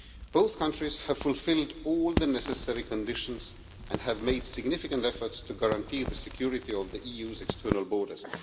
Both countries have fulfilled all the necessary conditions and have made significant efforts to guarantee the security of the EU's external borders.